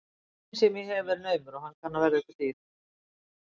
Tíminn sem ég hef er naumur og hann kann að verða ykkur dýr.